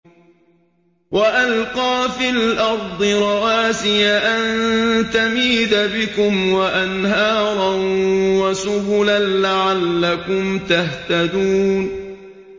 وَأَلْقَىٰ فِي الْأَرْضِ رَوَاسِيَ أَن تَمِيدَ بِكُمْ وَأَنْهَارًا وَسُبُلًا لَّعَلَّكُمْ تَهْتَدُونَ